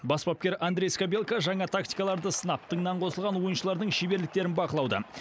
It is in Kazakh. бас бапкер андрей скабелка жаңа тактикаларды сынап тыңнан қосылған ойыншылардың шеберліктерін бақылауда